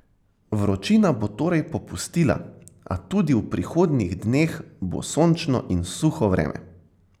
Vročina bo torej popustila, a tudi v prihodnjih dneh bo sončno in suho vreme.